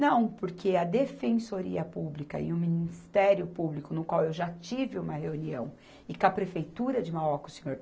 Não, porque a Defensoria Pública e o Ministério Público, no qual eu já tive uma reunião, e com a Prefeitura de Mauá com o senhor